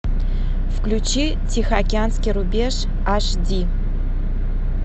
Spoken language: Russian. включи тихоокеанский рубеж аш ди